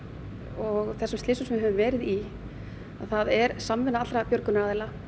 og þessum slysum sem við höfum verið í er samvinna allra björgunaraðila